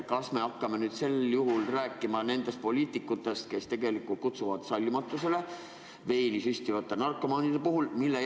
Kas me hakkame nüüd rääkima nendest poliitikutest, kes tegelikult kutsuvad üles sallimatusele veeni süstivate narkomaanide suhtes?